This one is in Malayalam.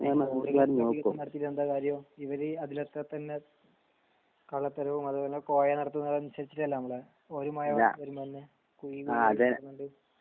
എന്താ കാര്യം ഇവര് അതിലൊക്കെ തന്നെ കള തരോം അതുപോലെ കോയ നടത്തുന്നത് അനുസരിച്ചിട്ടലെ നമ്മളെ ഒരു മഴ വരുമെന്നേ കുഴി നിറയുന്നുണ്ട്